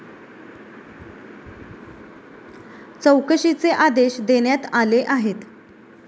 चौकशीचे आदेश देण्यात आले आहेत.